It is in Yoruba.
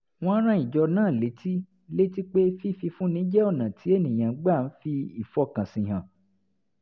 wọ́n rán ìjọ náà létí létí pé fífúnni jẹ́ ọ̀nà tí ènìyàn gbà ń fi ìfọkànsìn hàn